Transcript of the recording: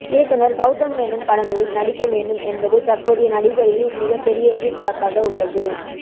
இயக்குனர் கெளதம் மேனன் படங்களில் நடிக்க வேண்டும் என்பது தற்போதைய நடிகர்களின் மிக பெரிய எதிர்பார்ப்பாக உள்ளது